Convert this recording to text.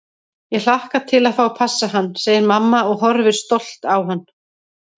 Ég hlakka til að fá að passa hann, segir mamma og horfir stolt á hann.